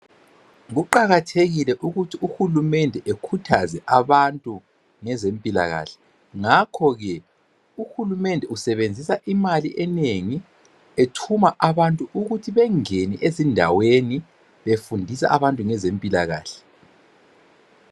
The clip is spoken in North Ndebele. Kuqakathekile ukuthi uhulumende ekhuthaze abantu ngezempilakahle ngakho ke uhulumende usebenzisa imali enengi ethuma abantu ukuthi bengene ezindaweni befundisa abantu ngezempilakahle